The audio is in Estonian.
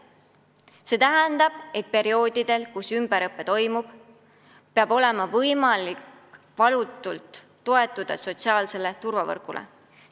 See tähendab, et perioodidel, kus ümberõpe toimub, peab olema võimalik valutult toetuda sotsiaalsele turvavõrgule.